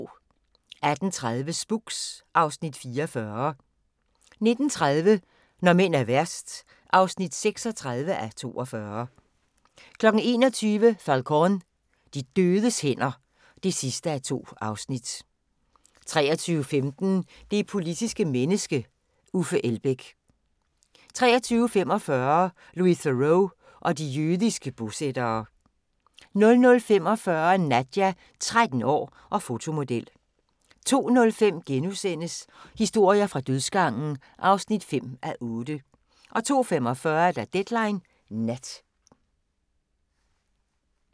18:30: Spooks (Afs. 44) 19:30: Når mænd er værst (36:42) 21:00: Falcón: De dødes hænder (2:2) 23:15: Det politiske menneske – Uffe Elbæk. 23:45: Louis Theroux og de jødiske bosættere 00:45: Nadja – 13 år og fotomodel 02:05: Historier fra dødsgangen (5:8)* 02:45: Deadline Nat